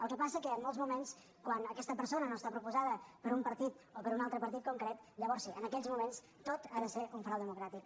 el que passa que en molts moments quan aquesta persona no està proposada per un partit o per un altre partit concret llavors sí en aquells moments tot ha de ser un frau democràtic